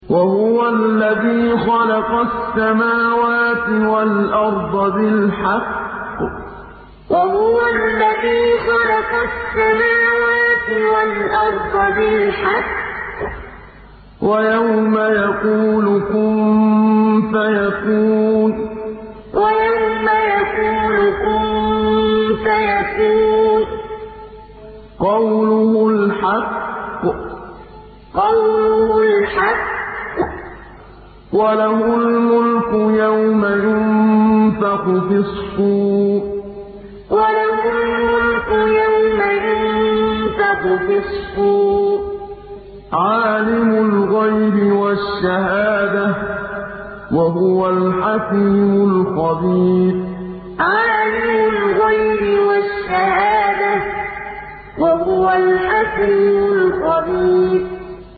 وَهُوَ الَّذِي خَلَقَ السَّمَاوَاتِ وَالْأَرْضَ بِالْحَقِّ ۖ وَيَوْمَ يَقُولُ كُن فَيَكُونُ ۚ قَوْلُهُ الْحَقُّ ۚ وَلَهُ الْمُلْكُ يَوْمَ يُنفَخُ فِي الصُّورِ ۚ عَالِمُ الْغَيْبِ وَالشَّهَادَةِ ۚ وَهُوَ الْحَكِيمُ الْخَبِيرُ وَهُوَ الَّذِي خَلَقَ السَّمَاوَاتِ وَالْأَرْضَ بِالْحَقِّ ۖ وَيَوْمَ يَقُولُ كُن فَيَكُونُ ۚ قَوْلُهُ الْحَقُّ ۚ وَلَهُ الْمُلْكُ يَوْمَ يُنفَخُ فِي الصُّورِ ۚ عَالِمُ الْغَيْبِ وَالشَّهَادَةِ ۚ وَهُوَ الْحَكِيمُ الْخَبِيرُ